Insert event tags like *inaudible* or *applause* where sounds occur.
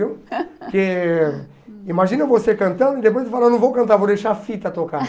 Viu? *laughs* Porque imagina você cantando e depois você fala, não vou cantar, vou deixar a fita tocar.